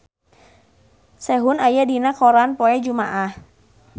Sehun aya dina koran poe Jumaah